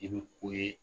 I bɛ ko ye